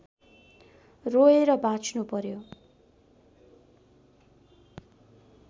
रोएर बाँच्नु पर्‍यो